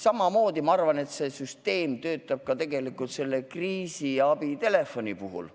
Ma arvan, et samamoodi töötab see süsteem ka kriisiabitelefoni puhul.